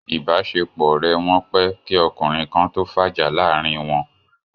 Ìbáṣepọ̀ ọ̀rẹ́ wọn pẹ́ kí ọkùnrin kan tó fàjà láàrin wọn